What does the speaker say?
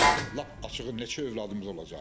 Lap açığı neçə övladımız olacaq?